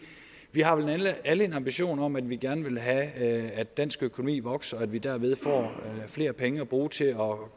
vi har vel alle en ambition om at vi gerne vil have at dansk økonomi vokser og at vi derved får flere penge at bruge til at gøre